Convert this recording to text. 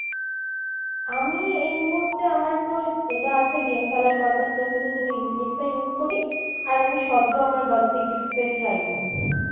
আমি এই মুহুর্তে আমারতো এটা আছে game খেলার purpose জন্য Infinix টাই use করি আর আমি সদ্য আমার birthday gift পেয়েছি Iphone।